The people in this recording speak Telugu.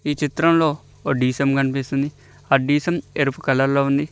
ఈ చిత్రంలో ఓ డి_సి_ఎం కనిపిస్తుంది ఆ డి_సి_ఎం ఎరుపు కలర్ లో ఉంది.